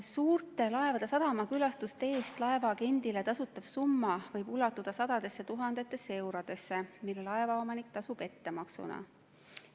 Suurte laevade sadamakülastuste eest laevaagendile tasutav summa võib ulatuda sadadesse tuhandetesse eurodesse, mille laevaomanik tasub ettemaksuna.